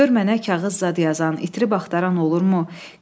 Gör mənə kağız zad yazan, itirib axtaran olurmu?